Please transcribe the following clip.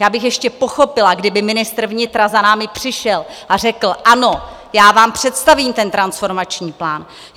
Já bych ještě pochopila, kdyby ministr vnitra za námi přišel a řekl: Ano, já vám představím ten transformační plán.